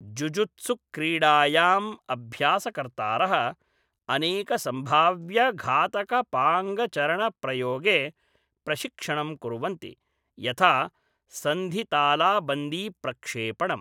जुजुत्सुक्रीडायां अभ्यासकर्तारः अनेकसंभाव्यघातकापाङ्गचरणप्रयोगे प्रशिक्षणं कुर्वन्ति, यथा संधितालाबन्दीप्रक्षेपणम् ।